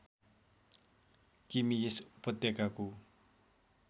किमी यस उपत्यकाको